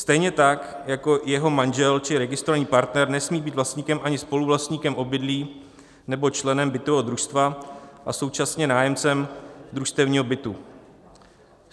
Stejně tak jako jeho manžel či registrovaný partner nesmí být vlastníkem ani spoluvlastníkem obydlí nebo členem bytového družstva a současně nájemcem družstevního bytu.